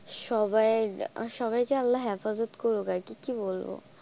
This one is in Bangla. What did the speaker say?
সবাই সবাইকে আল্লাহ হেফাজত করুক আর কি, কি বলবো।